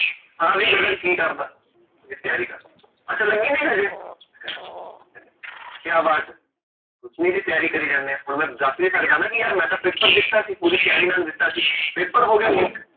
ਹਾਂ ਵੀ ਗਗਨ ਕਿ ਕਰਦਾ? ਜੀ ਤਿਆਰੀ ਕਰਦਾ, ਅੱਛਾ ਲੱਗੀ ਨੀ ਹਜੇ, ਮੈਂ ਕਹ ਨਹੀਂ, ਕਯਾ ਬਾਤ, ਕੁਛ ਨੀ ਜੀ ਤਿਆਰੀ ਕਰਿ ਜਾਂਦੇ ਆ, ਹੁਣ ਮੈ ਦਸ ਨੀ ਸਕਦਾ ਨਾ ਕਿ ਯਰ ਮੈਂ ਤਾ paper ਦਿੱਤਾ ਸੀ, ਤਿਆਰੀ ਨਾਲ ਦਿਤਾ ਸੀ paper ਹੋ ਗਿਆ leak